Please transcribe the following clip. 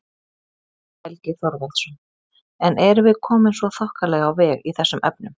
Haukur Helgi Þorvaldsson: En erum við komin svona þokkalega á veg í þessum efnum?